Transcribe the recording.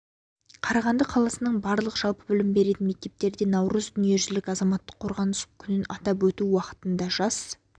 қарағанды қаласының барлық жалпы білім беретін мектептерде наурыз дүниежүзілік азаматтық қорғаныс күнін атап өту уақытында жас